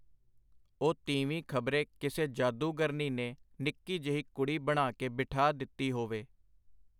ਉਹ ਤੀਵੀਂ ਖ਼ਬਰੇ ਕਿਸੇ ਜਾਦੂਗਰਨੀ ਨੇ ਨਿੱਕੀ ਜਿਹੀ ਕੁੜੀ ਬਣਾ ਕੇ ਬਿਠਾ ਦਿੱਤੀ ਹੋਵੇ.